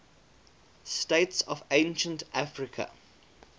states of ancient africa